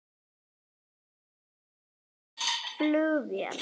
Þýskir flugvellir lokaðir